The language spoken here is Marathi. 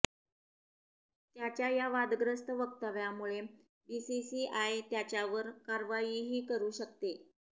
त्याच्या या वादग्रस्त वक्तव्यामुळे बीसीसीआय त्याच्यावर कारवाईही करु शकते